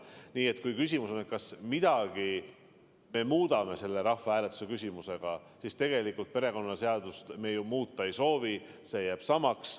Nii et kui küsimus on, kas me midagi muudame selle rahvahääletusega, siis tegelikult perekonnaseadust me ju muuta ei soovi, see jääb samaks.